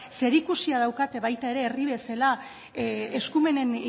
zerikusia daukate baita ere herri bezala eskumenen